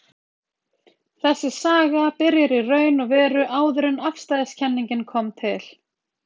Þessi saga byrjar í raun og veru áður en afstæðiskenningin kom til.